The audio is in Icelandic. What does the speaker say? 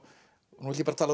nú ætla ég að tala